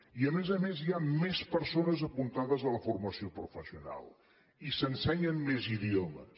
i a més a més hi ha a més persones apuntades a la formació professional i s’ensenyen més idiomes